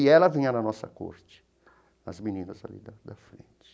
E ela vinha na nossa corte, as meninas ali da da frente.